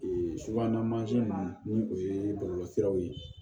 subahana ma ni o ye bɔlɔlɔsiraw ye